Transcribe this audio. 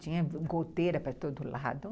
Tinha goteira para todo lado.